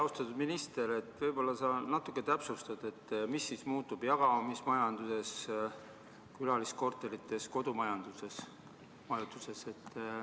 Austatud minister, võib-olla sa natuke täpsustad, mis muutub jagamismajanduses, külaliskorterites, kodumajutuses.